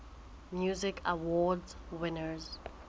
music awards winners